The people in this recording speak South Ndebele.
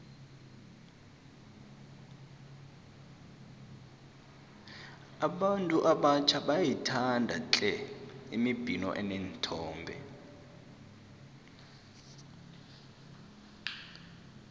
abantu abatjha bayayithanda tle imibhino eneenthombe